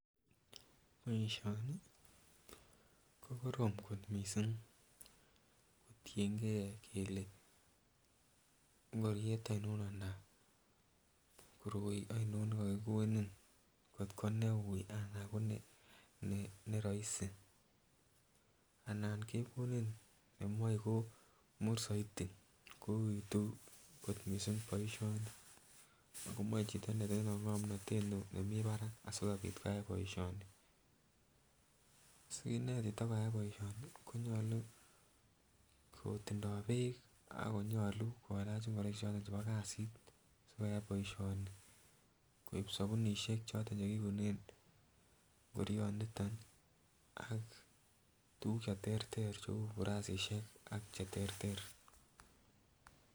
Boishoni ko korom kot missing kotiyengee kele ingoriet oinon anan koroi oinon nekokikonin kotko neu anan ko neroisi anan kekoni nemoi komur soiti ko uitu ko missing boishoni ako moche chito netindoi ngomnotet nemii barak asikopit koyai boishoni. Sikinet chito koyai boishoni konyolu kotindo beek ak konyolu koraa kilach ingoroik choton chebo kasit sikoyai boishoni koib sobunishek choton chekiunen ingorioniton nii ak tukuk cheterter cheu burasishek ak cheterter.